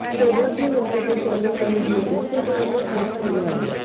सौभाग्य वेंकटेश यांनी हा व्हिडिओ इन्स्टाग्रामवर पोस्ट केला आहे